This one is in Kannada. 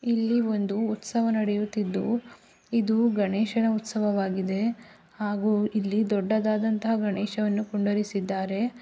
ಇಲ್ಲಿ ಒಂದು ಉತ್ಸವ ನಡೆಯುತ್ತಿದ್ದು ಇದು ಗಣೇಶನ ಉತ್ಸವವಾಗಿದೆ ಹಾಗೂ ಇಲ್ಲಿ ದೊಡ್ಡದಾದಂತ ಗಣೇಶವನ್ನು ಕುಂಡರಿಸಿದ್ದಾರೆ.